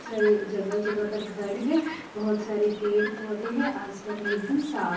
सारे जगह जगह पर घर हैं बहोत सारे पेड़-पौधे हैं आसमान भी एकदम साफ --